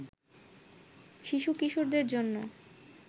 শিশুকিশোরদের জন্য